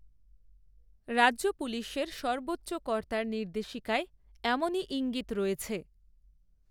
রাজ্য পুলিশের সর্বোচ্চ কর্তার নির্দেশিকায়, এমনই ঈঙ্গিত রয়েছে